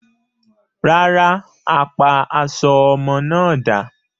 Rárá, a pa aṣọ ọmọ náà dà.